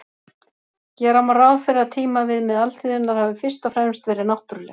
Gera má ráð fyrir að tímaviðmið alþýðunnar hafi fyrst og fremst verið náttúruleg.